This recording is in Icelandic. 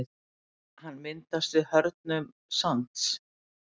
Hann myndast við hörðnun sands.